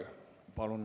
Palun!